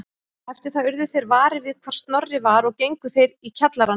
Eftir það urðu þeir varir við hvar Snorri var og gengu þeir í kjallarann